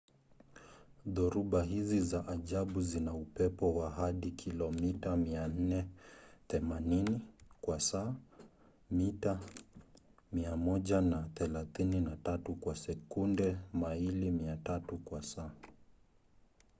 dhoruba hizi za ajabu zina upepo wa hadi kilomita 480 kwa saa mita 133 kwa sekunde; maili 300 kwa saa